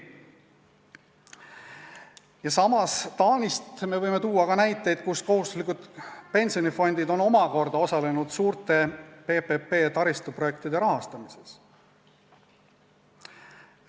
Ja samas Taanist võime tuua näiteid selle kohta, kuidas kohustuslikud pensionifondid on omakorda osalenud suurte PPP-taristuprojektide rahastamises.